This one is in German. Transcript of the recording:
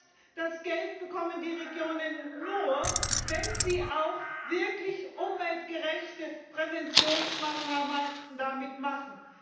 Das heißt, das Geld bekommen die Regionen nur, wenn sie auch wirklich umweltgerechte Präventionsmaßnahmen damit machen.